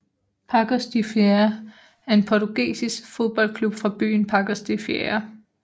Paços de Ferreira er en portugisisk fodboldklub fra byen Paços de Ferreira